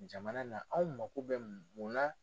Jamana na anw mako bɛ mun na.